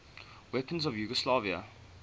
weapons of yugoslavia